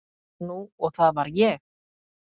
Nú og það var ég.